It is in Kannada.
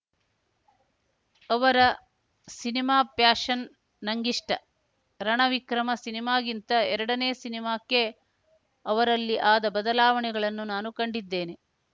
ಅವರ ಸಿನಿಮಾ ಪ್ಯಾಷನ್‌ ನಂಗಿಷ್ಟ ರಣ ವಿಕ್ರಮ ಸಿನಿಮಾಗಿಂತ ಎರಡನೇ ಸಿನಿಮಾಕ್ಕೆ ಅವರಲ್ಲಿ ಆದ ಬದಲಾವಣೆಗಳನ್ನು ನಾನು ಕಂಡಿದ್ದೇನೆ